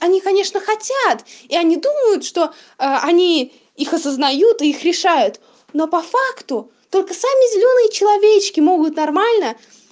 они конечно хотят и они думают что они их осознают их решают но по факту только сами зелёные человечки могут нормально